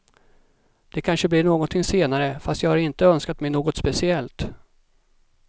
Det kanske blir någonting senare, fast jag har inte önskat mig något speciellt.